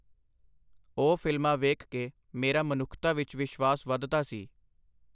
ਉਹ ਫਿਲਮਾਂ ਵੇਖ ਕੇ ਮੇਰਾ ਮਨੁੱਖਤਾ ਵਿਚ ਵਿਸ਼ਵਾਸ ਵਧਦਾ ਸੀ.